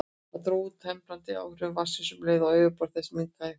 Það dró úr temprandi áhrifum vatnsins um leið og yfirborð þess minnkaði.